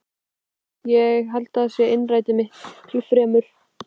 Innrætið, ég held að það sé innrætið miklu fremur.